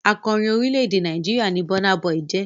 Akọrin orílẹ̀-èdè Nàìjíríà ni Burna Boy jẹ́.